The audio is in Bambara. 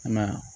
I m'a ye